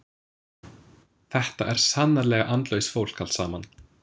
Þetta er sannarlega andlaust fólk allt saman.